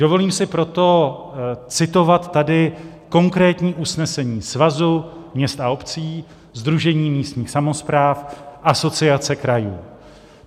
Dovolím si proto citovat tady konkrétní usnesení Svazu měst a obcí, Sdružení místních samospráv, Asociace krajů.